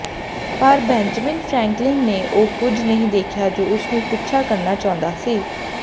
ਪਰ Benjamin Franklin ਨੇ ਉਹ ਕੁਝ ਨਹੀਂ ਦੇਖਿਆ ਜੋ ਉਸਨੂੰ ਪਿੱਛਾ ਕਰਨਾ ਚਾਹੁੰਦਾ ਸੀ